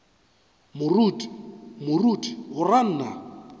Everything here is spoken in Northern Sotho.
moruti moruti o ra nna